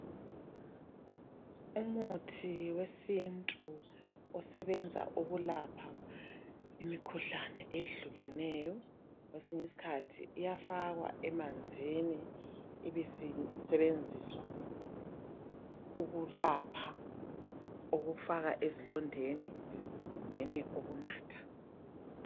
Umuthi wesintu osebenza ukulapha imikhuhlane eyehlukeneyo kwesinye isikhathi iyafakwa emanzini ibisisebenziswa ukulapha ukufakwa ezilondeni kumbeni ukunatha